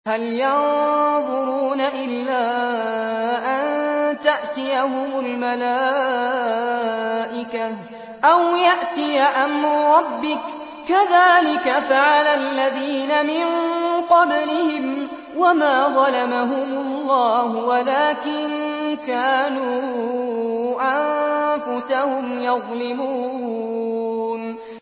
هَلْ يَنظُرُونَ إِلَّا أَن تَأْتِيَهُمُ الْمَلَائِكَةُ أَوْ يَأْتِيَ أَمْرُ رَبِّكَ ۚ كَذَٰلِكَ فَعَلَ الَّذِينَ مِن قَبْلِهِمْ ۚ وَمَا ظَلَمَهُمُ اللَّهُ وَلَٰكِن كَانُوا أَنفُسَهُمْ يَظْلِمُونَ